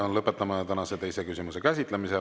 Ja lõpetame tänase teise küsimuse käsitlemise.